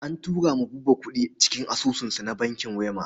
An turo wa Buba kuɗi cikin asusunsa na bankin Wema.